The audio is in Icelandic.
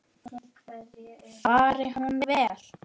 Fari hún vel.